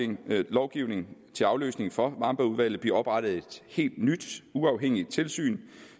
den nye lovgivning til afløsning for wambergudvalget blive oprettet et helt nyt uafhængigt tilsyn